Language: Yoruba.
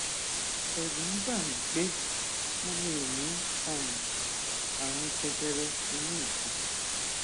ẹrù ń bà mí pé mo lè ní um ààrùn jẹjẹrẹ inú ìfun